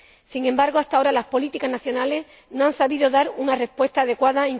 Sin embargo, hasta ahora, las políticas nacionales no han sabido dar una respuesta adecuada.